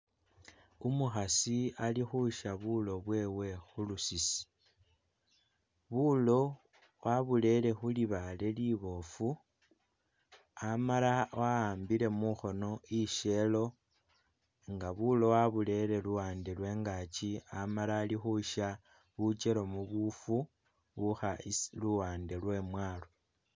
Umukhasi ali kusya bulo bwewe khu lusisi. Bulo wabulele khulibale libofu, amala waambile mukhono isyelo nga bulo waburere luwande lwe ingaki amala ali khusya bwikelamu buufu bukha isi luwande lwe imwaalo.